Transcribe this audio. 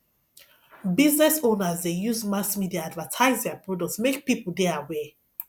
business owners de use mass media advertise their products make pipo de aware